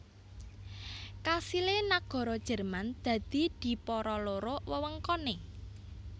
Kasilé nagara Jerman dadi dipara loro wewengkoné